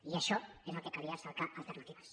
i a això és al que calia cercar alternatives